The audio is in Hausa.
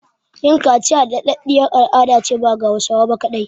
Yin kaciya da ɗaɗɗiyar al'adace ba ga Hausawa ba kaɗai